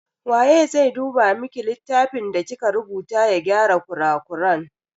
Waye zai duba miki littafin da kika rubuta ya gyara kurakuran?